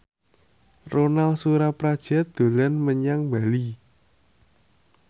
Ronal Surapradja dolan menyang Bali